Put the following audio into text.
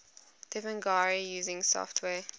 devanagari using software